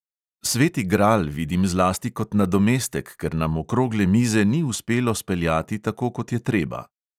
Sveti gral vidim zlasti kot nadomestek, ker nam okrogle mize ni uspelo speljati tako, kot je treba.